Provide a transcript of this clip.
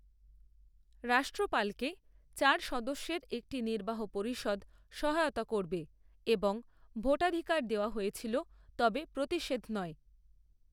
রাষ্ট্রপালকে চার সদস্যের একটি নির্বাহ পরিষদ সহায়তা করবে এবং ভোটাধিকার দেওয়া হয়েছিল তবে প্রতিষেধ নয়।